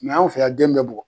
anw fɛ ya den bɛ bugɔ.